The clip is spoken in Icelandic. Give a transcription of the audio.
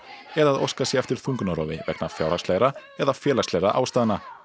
eða að óskað sé eftir þungunarrofi vegna fjárhagslegra eða félagslegra ástæðna